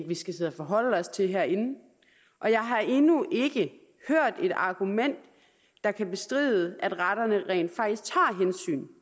vi skal sidde og forholde os til herinde og jeg har endnu ikke hørt et argument der kan bestride at retterne rent faktisk tager hensyn